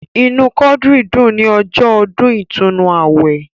Inú Quadri dùn ní ọjọ́ ọdún ìtúnnu awẹ.